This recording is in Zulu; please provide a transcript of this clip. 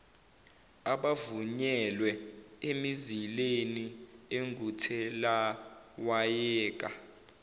abavunyelwe emizileni enguthelawayeka